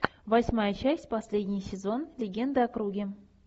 восьмая часть последний сезон легенды о круге